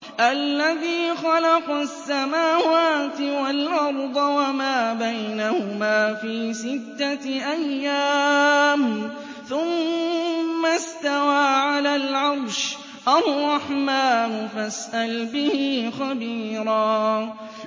الَّذِي خَلَقَ السَّمَاوَاتِ وَالْأَرْضَ وَمَا بَيْنَهُمَا فِي سِتَّةِ أَيَّامٍ ثُمَّ اسْتَوَىٰ عَلَى الْعَرْشِ ۚ الرَّحْمَٰنُ فَاسْأَلْ بِهِ خَبِيرًا